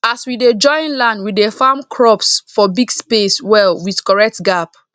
as we dey join land we dey farm crops for big space well with correct gap